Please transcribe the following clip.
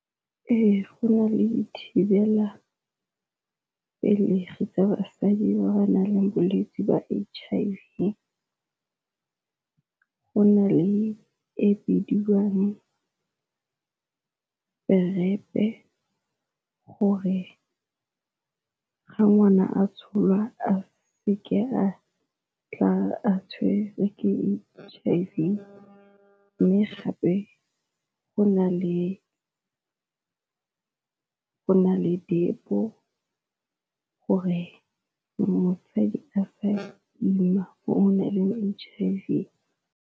Ee, go na le thibelapelegi tsa basadi ba ba nang le bolwetse jwa H_I_V go na le e bidiwang gore ga ngwana a tsholwa a seke a tla a tshwerwe ke H_I_V, mme gape go na le depo gore motsadi a sa ima o nang leng H_I_V.